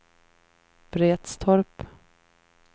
Vretstorp